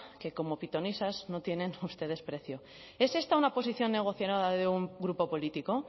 como pitonisas no tienen ustedes precio es esta una posición negociadora de un grupo político